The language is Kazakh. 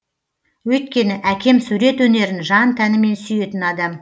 өйткені әкем сурет өнерін жан тәнімен сүйетін адам